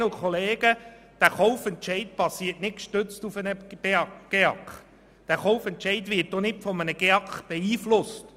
Aber dieser Kaufentscheid passiert nicht gestützt auf einen GEAK, und er wird nicht davon beeinflusst.